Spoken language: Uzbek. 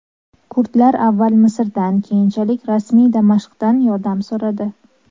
Kurdlar avval Misrdan , keyinchalik rasmiy Damashqdan yordam so‘radi.